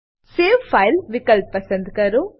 save file વિકલ્પ પસંદ કરો